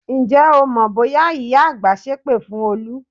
Ǹjẹ́ o mọ bóyá ìyá àgbà sépè fún Olú?